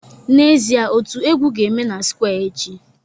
N'ezie, otu egwu ga-eme na square echi